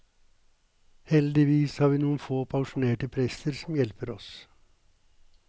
Heldigvis har vi noen få pensjonerte prester som hjelper oss.